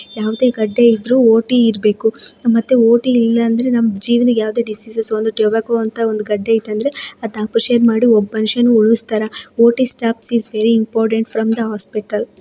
ಯಾವದೇ ಗದ್ದೆ ಇದ್ರೂ ಓ ಟಿ ಇರ್ಬೇಕು ಮತ್ತೆ ಓ ಟಿ ಲಿ ಇಲ್ಲ ಅಂದ್ರೆ ಟೊಬಾಕೊ ಅನ್ನೋ ಗದ್ದೆ O T staff is very important from the hospital .